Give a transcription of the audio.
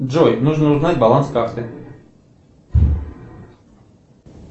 джой нужно узнать баланс карты